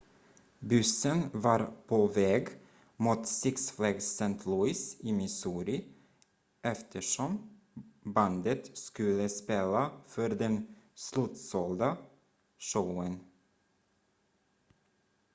bussen var påväg mot six flags st louis i missouri eftersom bandet skulle spela för den slutsålda showen